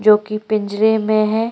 जो कि पिंजरे में है।